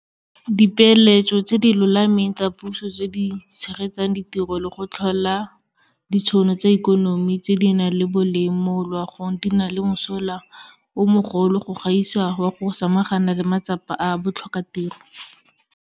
Dipeeletso tse di lolameng tsa puso tse di tshegetsang ditiro le go tlhola ditšhono tsa ikonomi tse di nang le boleng mo loagong di na le mosola o mogolo go gaisa wa go samaganana le matsapa a botlhokatiro.